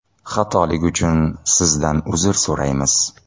Xatolik uchun Sizdan uzr so‘raymiz.